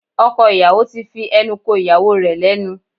Ọkọ ìyàwó ti fi ẹnu ko ìyàwó rẹ̀ lẹ́nu